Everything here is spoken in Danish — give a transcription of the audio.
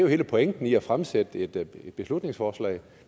hele pointen i at fremsætte et beslutningsforslag